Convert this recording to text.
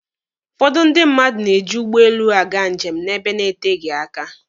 Ụfọdụ ndị mmadụ na-eji ụgbọelu aga njem n'ebe na-eteghi aka.